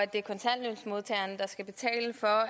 det er kontanthjælpsmodtagerne der skal betale for